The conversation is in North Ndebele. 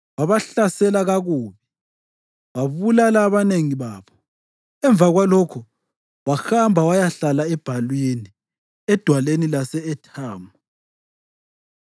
Wabahlasela kakubi wabulala abanengi babo. Emva kwalokho wahamba wayahlala ebhalwini edwaleni lase-Ethamu.